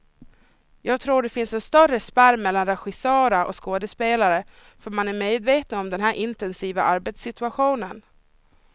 Jag tror det finns en större spärr mellan regissörer och skådespelare, för man är medvetna om den här intensiva arbetssituationen.